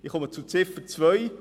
Ich komme zu Ziffer 2: